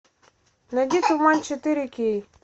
найди туман четыре кей